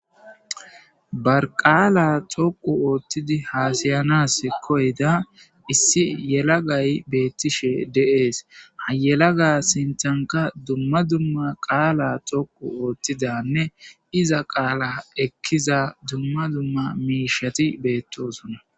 barqaala toqu ooththidi haasayanas koyda issi yelagay beettishe de'ees hayelaga sintanka dumma dumma qaala dhoqu oothtidanne iza qaala ekkiza dumma dumma miishati beettosona